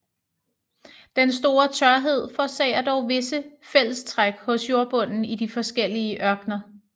Den store tørhed forårsager dog visse fællestræk hos jordbunden i de forskellige ørkener